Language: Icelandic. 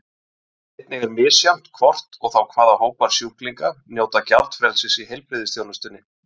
Einnig er misjafnt hvort og þá hvaða hópar sjúklinga njóta gjaldfrelsis í heilbrigðisþjónustunni.